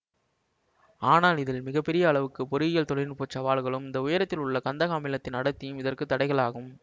ஆனால் இதில் மிக பெரிய அளவுக்கு பொறியியல் தொழில்நுட்பச் சவால்களும் இந்த உயரத்தில் உள்ள கந்தக அமிலத்தின் அடர்த்தியும் இதற்கு தடைகள் ஆகும்